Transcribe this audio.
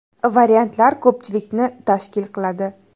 Variantlar ko‘pchilikni tashkil qiladi.